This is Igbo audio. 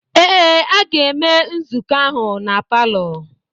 Ee, a ga-eme nzukọ ahụ na palọ.